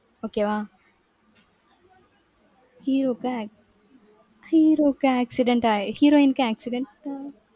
okay வா. hero க்கு acc~ hero க்கு accident ஆயி heroine க்கு accident